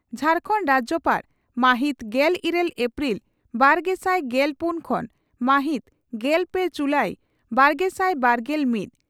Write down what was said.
ᱡᱷᱟᱨᱠᱟᱱᱰ ᱨᱟᱡᱭᱚᱯᱟᱲ ᱺ ᱢᱟᱦᱤᱛ ᱜᱮᱞᱤᱨᱟᱹᱞ ᱮᱯᱨᱤᱞ ᱵᱟᱨᱜᱮᱥᱟᱭ ᱜᱮᱞᱯᱩᱱ ᱠᱷᱚᱱ ᱢᱟᱦᱤᱛ ᱜᱮᱞ ᱯᱮ ᱡᱩᱞᱟᱭ ᱵᱟᱨᱜᱮᱥᱟᱭ ᱵᱟᱨᱜᱮᱞ ᱢᱤᱛ ᱾